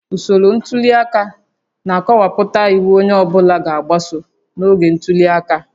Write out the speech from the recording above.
Usoro ntuli aka na-akọwapụta iwu onye ọ bụla ga-agbaso n'oge ntuli aka